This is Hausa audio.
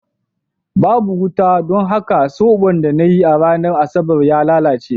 Babu wuta, don haka zoɓon da na yi a ranar Asabar ya lalace.